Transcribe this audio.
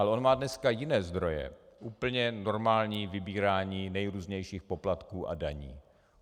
Ale on má dnes jiné zdroje, úplně normální vybírání nejrůznějších poplatků a daní.